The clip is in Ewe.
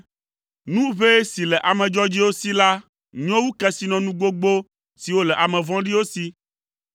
Nu ʋɛ si le ame dzɔdzɔewo si la nyo wu kesinɔnu gbogbo siwo le ame vɔ̃ɖiwo si,